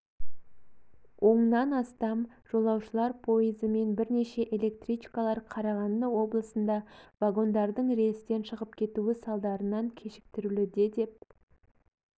оннан астам жолашулылар пойызы мен бірнеше электричкалар қарағанды облысында вагондардың рельстен шығып кетуі салдарынан кешіктірілуде деп